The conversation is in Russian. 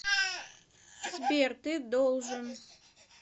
сбер ты должен